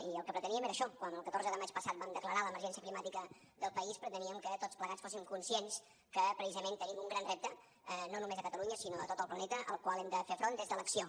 i el que preteníem era això quan el catorze de maig passat vam declarar l’emergència climàtica del país preteníem que tots plegats fóssim conscients que precisament tenim un gran repte no només a catalunya sinó a tot el planeta al qual hem de fer front des de l’acció